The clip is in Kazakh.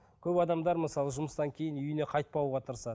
көп адамдар мысалы жұмыстан кейін үйіне қайтпауға тырысады